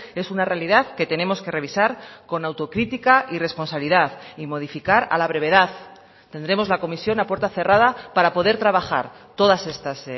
es una realidad que tenemos que revisar con autocritica y responsabilidad y modificar a la brevedad tendremos la comisión a puerta cerrada para poder trabajar todas estas